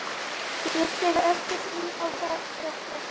Ég þekki ekkert inn á þetta.